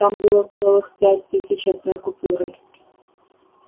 там было целых пять тысяч одной купюрой